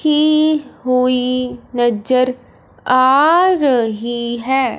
की हुई नजर आ रही है।